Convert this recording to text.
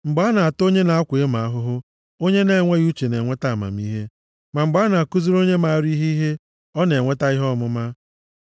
Mgbe a na-ata onye na-akwa emo ahụhụ, onye na-enweghị uche na-enweta amamihe, ma mgbe a na-akụziri onye maara ihe ihe ọ na-enweta ihe ọmụma.